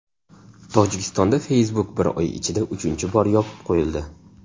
Tojikistonda Facebook bir oy ichida uchinchi bor yopib qo‘yildi.